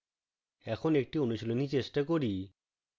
এখন একটি অনুশীলনী চেষ্টা করি